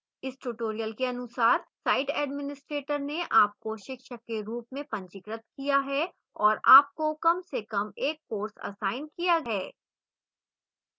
इस tutorial के अनुसार site administrator ने आपको शिक्षक के रूप में पंजीकृत किया है